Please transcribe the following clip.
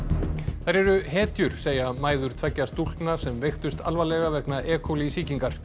þær eru hetjur segja mæður tveggja stúlkna sem veiktust alvarlega vegna e coli sýkingar